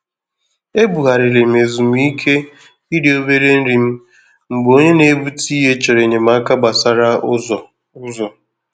Ebugharịrị m ezumike iri òbèrè nri m mgbe onye na ebute ìhè chọrọ enyemaka gbasàra ụzọ. ụzọ.